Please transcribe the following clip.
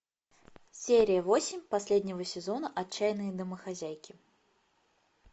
серия восемь последнего сезона отчаянные домохозяйки